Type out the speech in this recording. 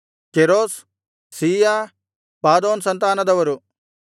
ಕೇರೋಸ್ ಸೀಯ ಪಾದೋನ್ ಸಂತಾನದರು